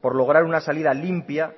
por lograr una salida limpia